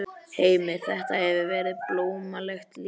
Heimir: Þetta hefur verið blómlegt líf hérna?